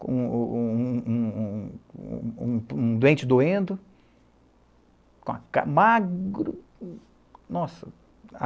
com um um o um um um um um um um doente doendo, com uma ca magro, nossa.